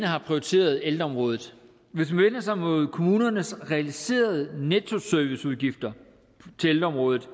har prioriteret ældreområdet hvis man vender sig mod kommunernes realiserede nettoserviceudgifter til ældreområdet